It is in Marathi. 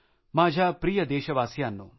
माझ्या प्रिय देशबांधवांनो